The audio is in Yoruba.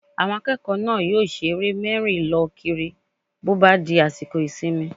Àwọn akẹ́kọ̀ọ́ náà yóò ṣe eré mẹ́rí-lọ-kiri bó bá di àsìkò ìsinmi